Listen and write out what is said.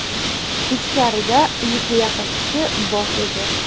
Ichkarida yuzga yaqin kishi bor edi.